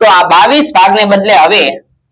તો આ બાવીસ ભાગ ને બદલે હવે